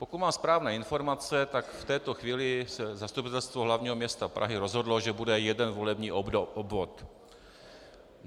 Pokud mám správné informace, tak v této chvíli se Zastupitelstvo hlavního města Prahy rozhodlo, že bude jeden volební obvod.